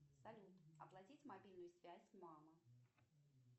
салют оплатить мобильную связь мама